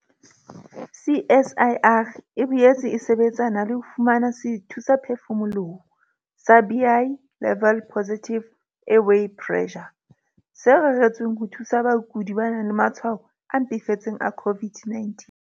CSIR e boetse e sebetsana le ho fumana sethusaphefumoloho sa Bi-level Positive Airway Pressure, se reretsweng ho thusa bakudi ba nang le matshwao a mpefetseng a COVID-19.